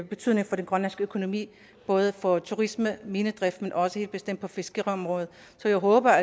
betydning for den grønlandske økonomi både for turisme og minedrift men også helt bestemt på fiskeriområdet så jeg håber